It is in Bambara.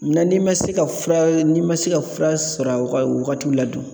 n'i ma se ka fura n'i ma se ka fura sɔrɔ a wagatiw la dun.